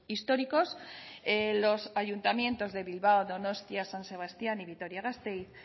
históricos los ayuntamientos de bilbao donostia san sebastián y vitoria gasteiz